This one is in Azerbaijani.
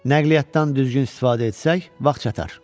Nəqliyyatdan düzgün istifadə etsək, vaxt çatar.